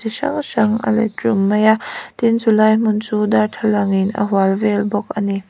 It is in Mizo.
hrang hrang a let rum mai a tin chulai hmun chu darthlalang in a hual vel bawk a ni.